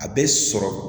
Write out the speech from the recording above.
A bɛ sɔrɔ